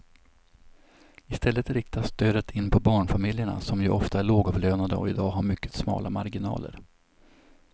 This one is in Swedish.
I stället riktas stödet in på barnfamiljerna som ju ofta är lågavlönade och i dag har mycket smala marginaler.